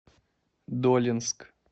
долинск